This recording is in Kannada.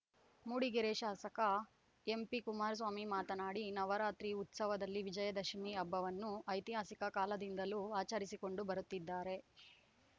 ಮೂಡಿಗೆರೆ ಶಾಸಕ ಎಂಪಿಕುಮಾರಸ್ವಾಮಿ ಮಾತನಾಡಿ ನವರಾತ್ರಿ ಉತ್ಸವದಲ್ಲಿ ವಿಜಯದಶಮಿ ಹಬ್ಬವನ್ನು ಐತಿಹಾಸಿಕ ಕಾಲದಿಂದಲೂ ಆಚರಿಸಿಕೊಂಡು ಬರುತ್ತಿದ್ದಾರೆ